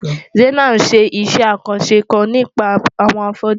Zainab ń ṣe iṣẹ́ àkànṣe kan nípa àwọn afọ́jú.